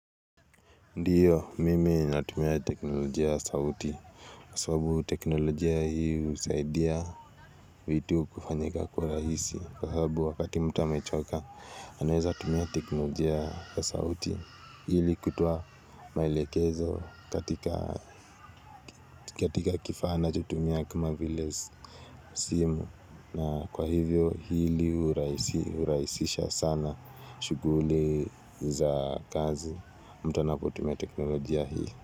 Ndiyo mimi natumia teknolojia ya sauti kwa sababu teknolojia hii husaidia vitu kufanyika kwa rahisi kwa sababu wakati mtu amechoka anaweza tumia teknolojia ya sauti ili kutoa maelekezo katika katika kifaaa anachotumia kuma vilezi simu na kwa hivyo hili hurahisi,,, hurahisisha sana shuguli za kazi mtu anapotumia teknolojia hii.